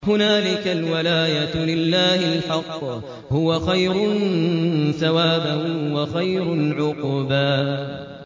هُنَالِكَ الْوَلَايَةُ لِلَّهِ الْحَقِّ ۚ هُوَ خَيْرٌ ثَوَابًا وَخَيْرٌ عُقْبًا